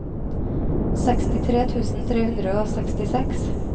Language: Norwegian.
sekstitre tusen tre hundre og sekstiseks